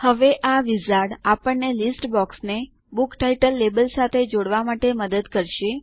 હવે આ વિઝાર્ડ આપણને લીસ્ટ બોક્સને બુક ટાઇટલ લેબલ સાથે જોડવા માટે મદદ કરશે